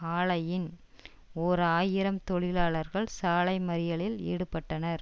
ஆலையின் ஓர் ஆயிரம் தொழிலாளர்கள் சாலை மறியலில் ஈடுபட்டனர்